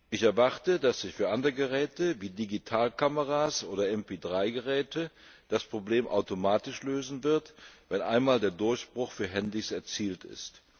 Ich erwarte, dass sich für andere Geräte wie Digitalkameras oder MP3 Geräte das Problem automatisch lösen wird, wenn einmal der Durchbruch für Handys erzielt ist.